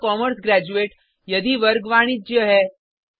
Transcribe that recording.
I am a commerce graduate यदि वर्ग वाणिज्य है